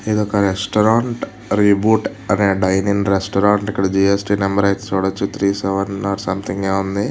ఇది ఒక restaurant . Reboot అనే డైనింగ్ రెస్టారెంట్ . ఇక్కడ జిఎస్ టి నెంబర్ అయితే చూడచ్చు. త్రీ సెవెన్ నాట్ సంథింగ్ ఏమో ఉంది.